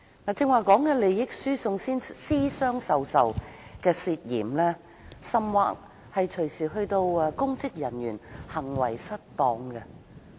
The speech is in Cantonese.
我剛才提到的涉嫌利益輸送和私相授受等事情，其實隨時可能涉及公職人員行為失當。